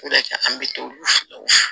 O de kɛ an bɛ t'o olu fɛ